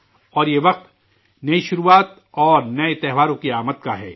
اور یہ وقت نئی شروعات اور نئے اتسو کی آمد کا ہے